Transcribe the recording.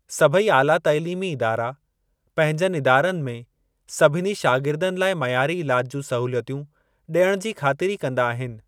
सभेई आला तइलीमी इदारा पंहिंजनि इदारनि में सभिनी शागिर्दनि लाइ मयारी इलाज जूं सहूलियतूं ॾियण जी ख़ातिरी कंदा आहिनि।